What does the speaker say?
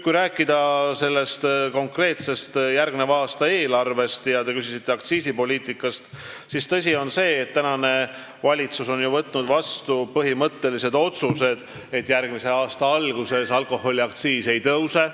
Kui rääkida konkreetsest eelarvest – ja te küsisite aktsiisipoliitika kohta –, siis tõsi on see, et valitsus on võtnud vastu põhimõttelise otsuse: järgmise aasta alguses alkoholiaktsiis ei tõuse.